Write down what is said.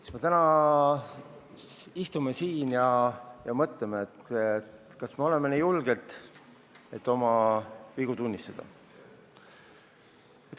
Eks me täna istume siin ja mõtleme, kas me oleme nii julged, et oma vigu tunnistada.